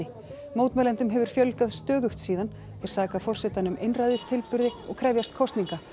mótmælendum hefur fjölgað stöðugt síðan þeir saka forsetann um einræðistilburði og krefjast kosninga